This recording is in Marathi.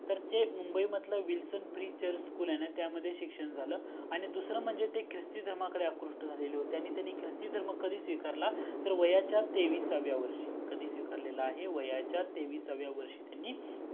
तर ते मुंबई मधले wilson pre church school आहे न त्यामध्ये शिक्षण झाल आणि दूसरा म्हणजे ते ख्रिस्ती धर्माकडे अत कृस्ट झालेले होते आणि त्यांनी ख्रिस्ती धर्म कधी स्वीकारला त्तर वयाच्या तेवीसाव्या वर्षी तो कधी स्वीकारलेला आहे तर वयाच्या तेवीसाव्या वर्षी त्यांनी